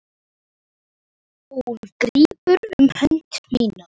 Hún grípur um hönd mína.